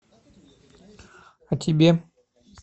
о тебе